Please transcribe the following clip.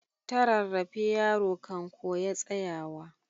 Ta rarrafe yaro kan koya tsayawa.